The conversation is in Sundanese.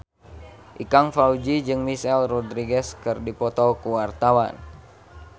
Ikang Fawzi jeung Michelle Rodriguez keur dipoto ku wartawan